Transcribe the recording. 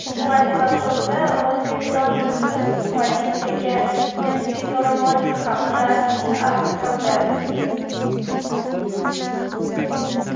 Vladivostokda o‘zbekistonlik qiz politsiyaga jinsiy zo‘ravonlik haqida arz qildi.